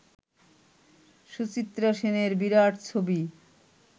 সুচিত্রা সেনের বিরাট ছবি